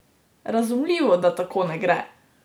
Razumljivo, da tako ne gre!